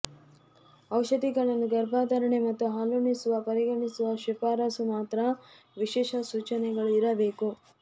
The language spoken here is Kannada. ಔಷಧಿಗಳನ್ನು ಗರ್ಭಧಾರಣೆ ಮತ್ತು ಹಾಲುಣಿಸುವ ಪರಿಗಣಿಸುವ ಶಿಫಾರಸು ಮಾತ್ರ ವಿಶೇಷ ಸೂಚನೆಗಳು ಇರಬೇಕು